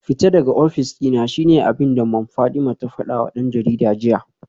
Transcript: Fita daga ofis dina shine abinda Mom Fatima ta fadawa dan jarida jiya